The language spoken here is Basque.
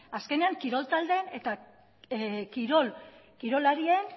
azkenean kirol taldean eta kirolarien